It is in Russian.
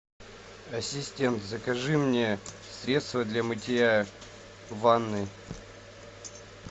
ассистент закажи мне средство для мытья ванны